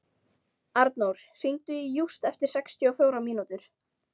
Arnór, hringdu í Júst eftir sextíu og fjórar mínútur.